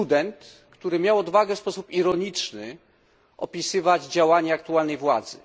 Student, który miał odwagę w sposób ironiczny opisywać działania aktualnej władzy.